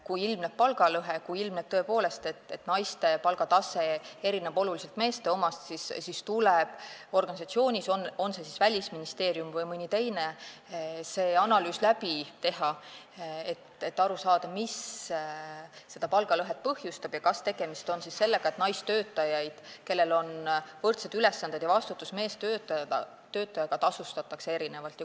Kui ilmneb palgalõhe, kui ilmneb, et naiste palgatase erineb oluliselt meeste omast, siis tuleb organisatsioonis, olgu see siis Välisministeerium või mõni teine, see analüüs läbi teha, et aru saada, mis palgalõhet põhjustab ja kas tegemist on sellega, et naistöötajaid, kellel on võrdsed ülesanded ja vastutus, tasustatakse meestöötajatest erinevalt.